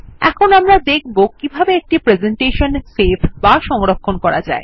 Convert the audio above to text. এখন আমরা দেখব কিভাবে একটি প্রেসেন্টেশন সেভ বা সংরক্ষণ করা যায়